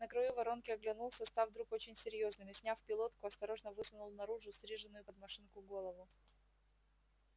на краю воронки оглянулся став вдруг очень серьёзным и сняв пилотку осторожно высунул наружу стриженную под машинку голову